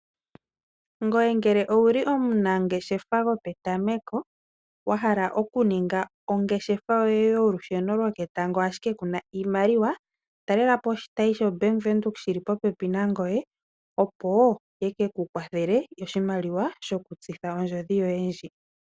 Ngoye ngele owuli omunangeshefa gope tameko wahala okuninga ongeshefa yoye yolusheno yoketango ashike kuna iimaliwa, talelapo oshitayi sho baanga yaVenduka shili popepi nangoye opo yekeku kwathele oshimaliwa shokutsitha ondjodhi yoye ndji.